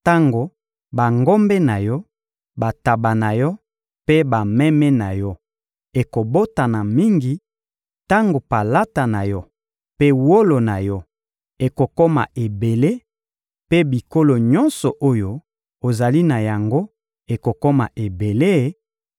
tango bangombe na yo, bantaba na yo mpe bameme na yo ekobotana mingi, tango palata na yo mpe wolo na yo ekokoma ebele mpe biloko nyonso oyo ozali na yango ekokoma ebele;